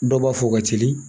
Dɔw b'a fɔ u ka teli